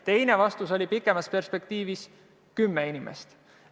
Teine vastus oli, et pikemas perspektiivis vajatakse kümmet inimest.